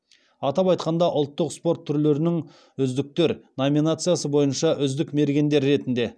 атап айтқанда ұлттық спорт түрлерінің үздіктер номинациясы бойынша үздік мергендер ретінде